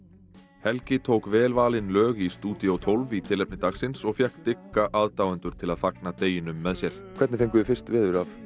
helgi tók vel valin lög í stúdíó tólf í tilefni dagsins og fékk dygga aðdáendur til að fagna deginum með sér hvernig fenguð þið fyrst veður